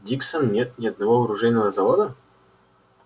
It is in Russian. диксон нет ни одного оружейного завода